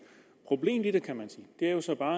problemet i det kan man sige er jo så bare